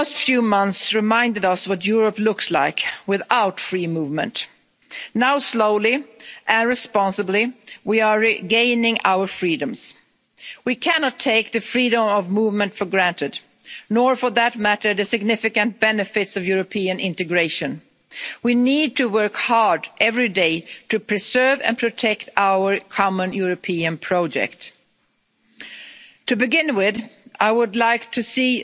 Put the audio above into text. The last few months have reminded us what Europe looks like without free movement. Now slowly and responsibly we are regaining our freedoms. We cannot take the freedom of movement for granted. Nor, for that matter, the significant benefits of European integration. We need to work hard every day to preserve and protect our common European project. To begin with, I would like